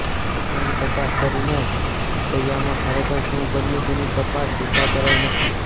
ઘટનાની તપાસ કરીને છપૈયામાં ખરેખર શું બન્યું તેની તપાસ સુદ્ધા કરાઇ નથી